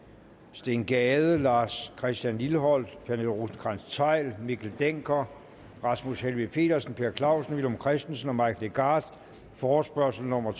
steen gade lars christian lilleholt pernille rosenkrantz theil mikkel dencker rasmus helveg petersen per clausen villum christensen og mike legarth forespørgsel nummer